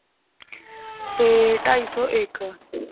ਤੇ ਢਾਈ ਸੋ ਇਕ l